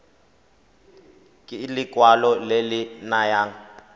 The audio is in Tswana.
ke lekwalo le le nayang